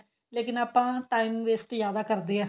ਲੇਕਿਨ ਆਪਾਂ time waste ਜਿਆਦਾ ਕਰਦੇ ਆ